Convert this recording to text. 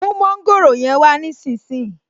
Mú mọ́ńgòrò yẹn wá nísinsìnyí